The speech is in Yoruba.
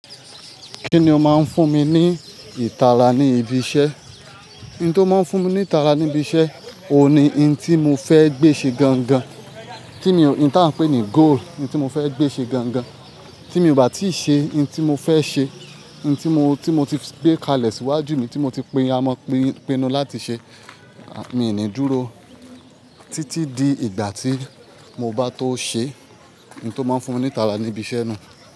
Kíni ó máa ń fún mi ní ìtara ní ibi iṣẹ́? Ohun tó má ń fún mi ní ìtara ní ibi iṣẹ́, òun ni ohun tí mo fẹ́ gbé ṣe gan gan. Tí mo, ohun tí a ń pè ní goal, ohun tí mo fẹ́ gbé ṣe gan gan. Tí mi ò bá tíì ṣe ohun tí mo fẹ́ ṣe, ohun tí mo, tí mo ti gbé kalẹ̀ síwájú mi, tí mo ti pinnu láti ṣe, mii ní dúró títí di ìgbà tí mo bá tó ṣe. Ohun tó má ń fún mi ní ìtara ní ibi iṣẹ́ nu.